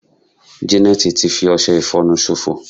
janet ti fi ọsẹ ifonu sofo